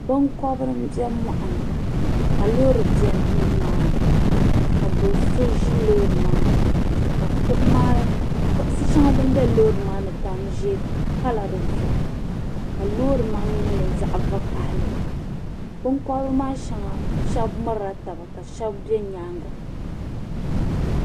binkɔbiri m-be mɔɣuni ka loori be ni maani ka do' so ʒi loori maa ni ka kuɣ' shɛŋa din be loori maa ni tani ʒee pala di zuɣu ka loori maa mi nyɛ zaɣ' vakahili binkɔbiri maa shɛba mirila taba ka shɛba be nyaaŋga